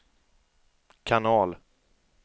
kanal